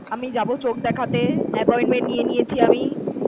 আমি যাবো চোখ দেখতে, appointment নিয়ে নিয়েছি আমি।